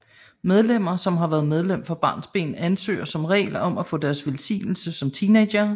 Medlemmer som har været medlem fra barnsben ansøger som regel om at få deres velsignelse som teenagere